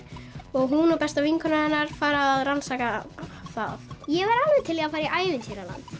og hún og besta vinkona hennar fara að rannsaka það ég væri alveg til í að fara í ævintýraland